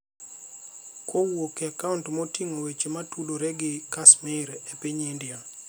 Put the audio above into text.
kowuok e akaont moting'o weche ma tudore gi Kashmir e piny India.